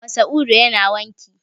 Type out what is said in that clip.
Masa'udu yana wanki.